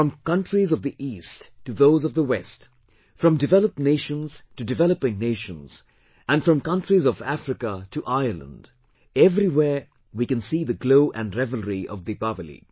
From countries of the East to those of the West, from developed nations to developing nations and from countries of Africa to Ireland everywhere we can see the glow and revelry of Deepawali